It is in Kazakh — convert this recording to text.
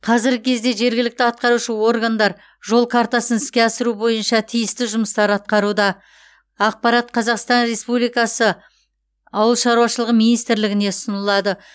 қазіргі кезде жергілікті атқарушы органдар жол картасын іске асыру бойынша тиісті жұмыстар атқаруда ақпарат қазақстан ресупбликасы ауылшаруашылық министрлігіне ұсынылады